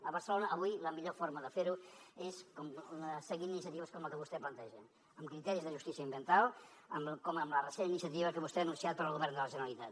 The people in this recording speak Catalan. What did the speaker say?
a barcelona avui la millor forma de fer ho és seguint iniciatives com la que vostè planteja amb criteris de justícia ambiental com amb la recent iniciativa que vostè ha anunciat per al govern de la generalitat